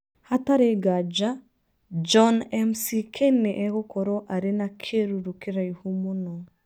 Hatarĩ nganja, John McCain nĩ egũkorũo arĩ na kĩruru kĩraihu mũno".